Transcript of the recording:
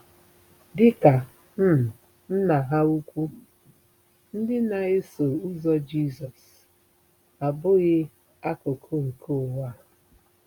Dị ka um Nna ha ukwu, ndị na-eso ụzọ Jizọs “abụghị akụkụ nke ụwa .”